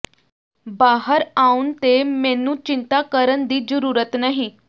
ਬਾਹਰ ਆਉਣ ਤੇ ਮੈਨੂੰ ਚਿੰਤਾ ਕਰਨ ਦੀ ਜ਼ਰੂਰਤ ਨਹੀਂ